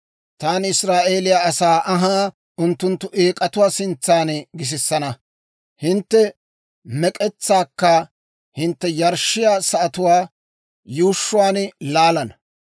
Taani Israa'eeliyaa asaa anhaa unttunttu eek'atuwaa sintsan gisisana; hintte mek'etsaakka hintte yarshshiyaa sa'atuwaa yuushshuwaan laalana.